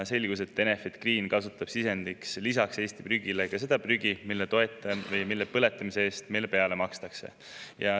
Selgus, et Enefit Green kasutab lisaks Eesti prügile sisendina seda prügi, mille põletamise eest meile peale makstakse.